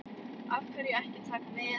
Af hverju ekki Taka með?